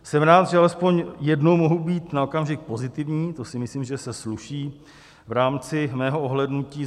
Jsem rád, že alespoň jednou mohu být na okamžik pozitivní, to si myslím, že se sluší v rámci mého ohlédnutí.